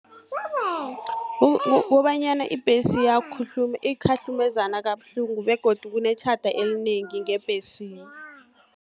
Kobanyana ibhesi ikhahlumezana kabuhlungu, begodu kunetjhada elinengi ngebhesini.